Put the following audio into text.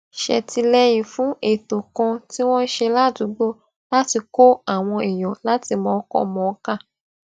ṣètìléyìn fún ètò kan tí wón ṣe ládùúgbò láti kó àwọn èèyàn láti mòókọmòókà